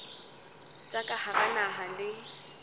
tsa ka hara naha le